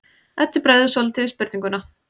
Eddu bregður svolítið við spurninguna.